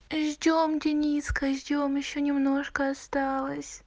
ждём дениска ждём ещё немножко осталось